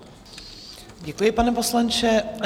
Děkuji, pane poslanče.